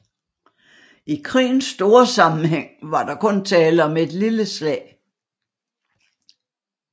I krigens store sammenhæng var der kun tale om et lille slag